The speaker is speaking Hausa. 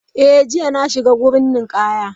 Eh, jiya na shiga wurin ninkaya.